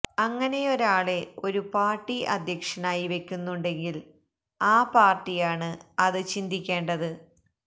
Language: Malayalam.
അങ്ങനെയൊരാളെ ഒരു പാർട്ടി അധ്യക്ഷനായി വെക്കുന്നുണ്ടെങ്കിൽ ആ പാർട്ടിയാണ് അത് ചിന്തിക്കേണ്ടത്